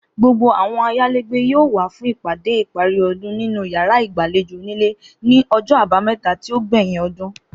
Gbogbo àwo̩n ayálégbé yóò wá fún ìpàdé ìparí o̩dún nínú yàrá ìgbàlejò onílé ní o̩jo̩ Àbámé̩ta tí ó gbè̩yìn o̩dún